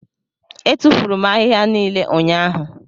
Etufuru m ahịhịa niile ụnyahụ.